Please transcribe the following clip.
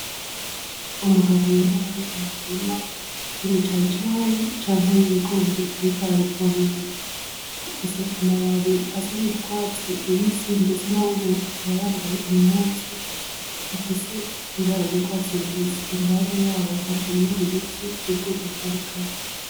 Umugabo yoba ari mu murima w'imicayicayi canke w'ibigori ariko arabivomera ifise amababi asa n'ugwatsi rubisi ndetse nawenyene akaba yambaye impuzu ifise ibara ry'ugwatsi rubisi iruhande yaho hari ibindi biti vy'ubwoko butandukanye.